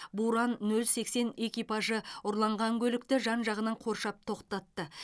буран нөл сексен экипажы ұрланған көлікті жан жағынан қоршап тоқтатты